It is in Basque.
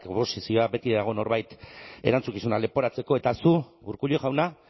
beti dago norbait erantzukizunak leporatzeko eta zu urkullu jauna